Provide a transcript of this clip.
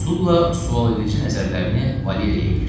Sulla sualedici nəzərlərini Valeriyə tikdi.